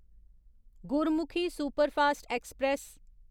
Gurmukhi superfast express